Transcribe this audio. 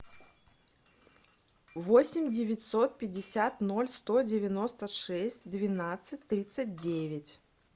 восемь девятьсот пятьдесят ноль сто девяносто шесть двенадцать тридцать девять